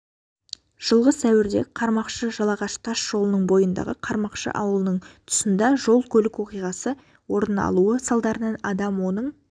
жылғы сәуірде қармақшы-жалағаш тас жолының бойындағы қармақшы ауылының тұсында жол-көлік оқиғасы орны алуы салдарынан адам оның